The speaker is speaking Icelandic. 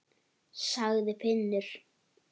sagði Finnur.